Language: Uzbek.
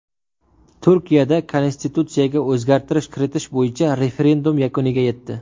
Turkiyada konstitutsiyaga o‘zgartirish kiritish bo‘yicha referendum yakuniga yetdi.